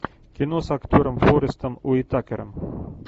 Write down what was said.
кино с актером форестом уитакером